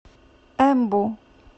эмбу